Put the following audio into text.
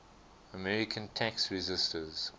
american tax resisters